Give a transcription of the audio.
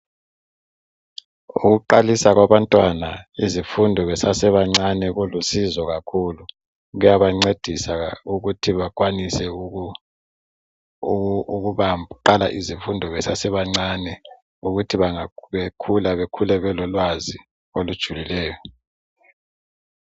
Ukuqalisa kwabantwana izifundo besesebancanee kulusizo kakhulu. Kuyabancedisa ukuthi bakwanise ukuqala izifundo besesebancane ukuthi bekhule, bekhule belolwazi olujulileyo.